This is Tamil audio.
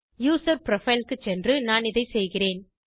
யூசர் புரோஃபைல் க்கு சென்று நான் இதைச் செய்கிறேன்